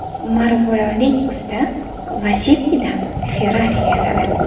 Marg‘ilonlik usta Lacetti’dan Ferrari yasadi .